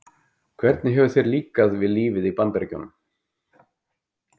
Hvernig hefur þér líkað við lífið í Bandaríkjunum?